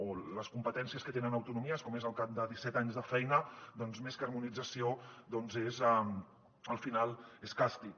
o les competències que tenen autonomies com és al cap de disset anys de feina doncs més que harmonització al final és càstig